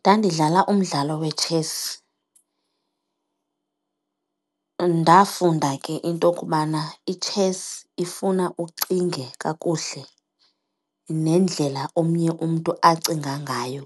Ndandidlala umdlalo wetshesi. Ndafunda ke into kubana itshesi ifuna ucinge kakuhle nendlela omnye umntu acinga ngayo